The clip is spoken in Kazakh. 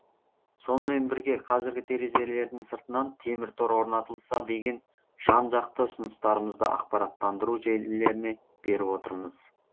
сонымен бірге қазіргі терезелердің сыртынан темір тор орнатылса деген жан жақты ұсыныстарымызды ақпараттандыру желілеріне беріп отырмыз